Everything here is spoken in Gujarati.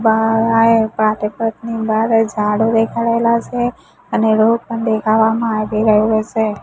બારે ઝાડો દેખાડેલા છે અને રોડ પણ દેખાડવામાં આવી રહેલો છે.